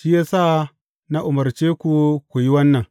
Shi ya sa na umarce ku ku yi wannan.